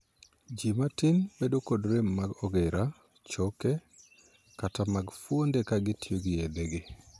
Ji matin bedo kod rem mag ogira, choke, kata mag fuonde ka gitiyogi yedhegi.